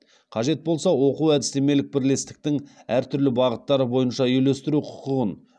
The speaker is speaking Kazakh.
қажет болса оқу әдістемелік бірлестіктің әртүрлі бағыттары бойынша үйлестіру құқығын